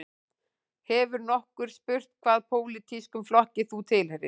Hefur nokkur spurt hvaða pólitískum flokki þú tilheyrir